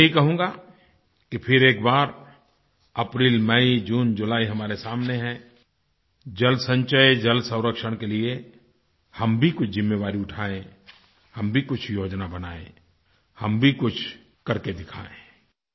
मैं यही कहूँगा कि फिर एक बार एप्रिल मय जुने जुली हमारे सामने हैं जलसंचय जलसंरक्षण के लिए हम भी कुछ ज़िम्मेवारी उठाएँ हम भी कुछ योजना बनाएँ हम भी कुछ करके दिखाएँ